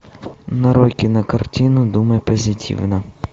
нарой кинокартину думай позитивно